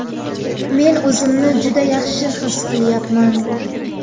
Men o‘zimni juda yaxshi his qilyapman!.